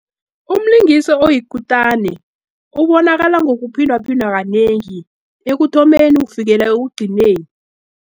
Umlingisi oyikutane, ubonakala ngokuphindwaphindwa kanengi, ekuthomeni kufikela ekugcineni.